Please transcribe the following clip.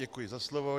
Děkuji za slovo.